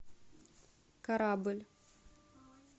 корабль